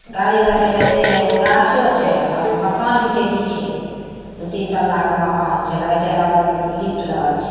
गाड़ी लगल छै कते ने एगो गाछो छै और मकान भी छै पीछे दु-तीन तल्ला के मकान छै लगे छै लगए छै मॉल में लिफ्ट लागल छै।